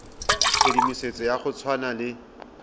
tshedimosetso ya go tshwana le